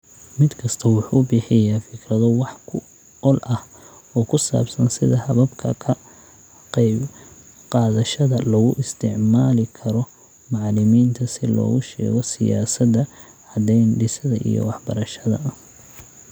Mid kastaa wuxuu bixiyaa fikrado wax ku ool ah oo ku saabsan sida hababka ka qaybqaadashada loogu isticmaali karo macallimiinta si loogu sheego siyaasadda caddayn-dhisidda iyo waxbarashada